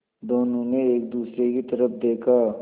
दोनों ने एक दूसरे की तरफ़ देखा